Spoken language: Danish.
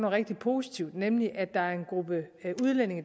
rigtig positivt nemlig at der er en gruppe udlændinge